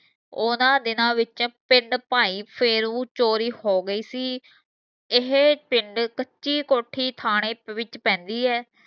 ਓਹਨਾਂ ਦਿਨਾਂ ਵਿੱਚ ਪਿੰਡ ਭਾਏ ਫੇਰੂ ਚੋਰੀ ਹੋ ਗਈ ਸੀ ਇਹ ਪਿੰਡ ਕੱਚੀ ਕੋਠੀ ਥਾਣੇ ਵਿਚ ਪੈਂਦੀ ਹੈ